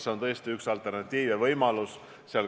See on tõesti üks alternatiiv, üks võimalus.